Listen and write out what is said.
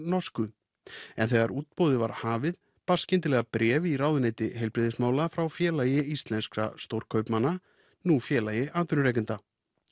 norsku en þegar útboðið var hafið barst skyndilega bréf í ráðuneyti heilbrigðismála frá Félagi íslenskra stórkaupmanna nú Félagi atvinnurekenda